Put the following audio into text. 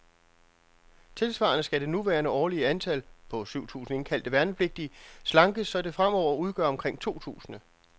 Tilsvarende skal det nuværende årlige antal, på syv tusinde indkaldte værnepligtige, slankes, så det fremover udgør omkring to tusinde.